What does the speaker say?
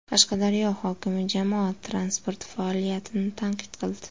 Qashqadaryo hokimi jamoat transporti faoliyatini tanqid qildi.